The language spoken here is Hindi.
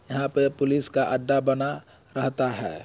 यहाँ पे पुलिस का अड्डा बना रहता है।